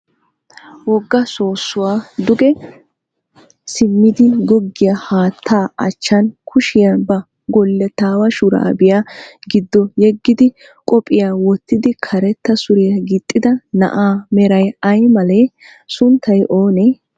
Wogga soossuwa duge simmidi goggiya haattaa achchan kushiya ba gullottaawa shuraabiya giddo yeggidi qophiya wottidi karetta suriya gixxida na'aa meray ay malee? Sunttay oonee?